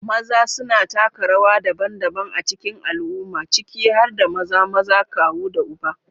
Maza suna taka rawa daban-daban a cikin al'umma, ciki har da maza, maza, kawu, da uba.